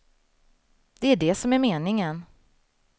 Det är det som är meningen.